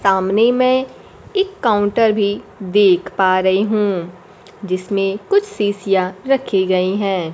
सामने मै एक काउंटर भी देख पा रही हूं जिसमें कुछ शीशियां रखी गई हैं।